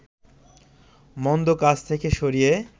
মন্দ কাজ থেকে সরিয়ে